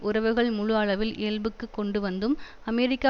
உறவுகள் முழு அளவில் இயல்புக்கு கொண்டுவந்தும் அமெரிக்கா